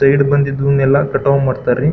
Side ಬಂದಿದ್ದು ಎಲ್ಲಾ ಕಟಾವ್ ಮಾಡತ್ವ್ ರೀ.